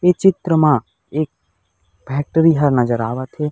ए चित्र म एक फैक्ट्री ह नज़र आवा थे।